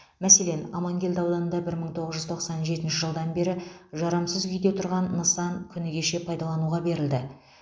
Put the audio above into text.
мәселен амангелді ауданында бір мың тоғыз жүз тоқсан жетінші жылдан бері жарамсыз күйде тұрған нысан күні кеше пайдалануға берілді